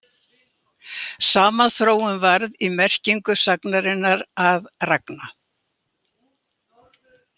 Sama þróun varð í merkingu sagnarinnar að ragna.